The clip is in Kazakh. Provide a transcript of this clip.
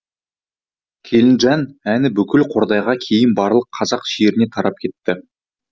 келінжан әні бүкіл қордайға кейін барлық қазақ жеріне тарап кетті